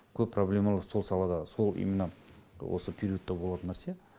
көп проблемалар сол салада сол именно осы периодта болатын нәрсе